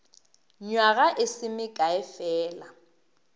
nywaga e se mekae fela